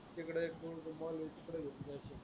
तिकडं एक घेऊन जायचय